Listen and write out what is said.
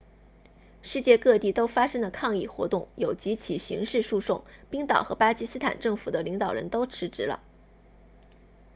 世界各地都发生了抗议活动有几起刑事诉讼冰岛和巴基斯坦政府的领导人都辞职了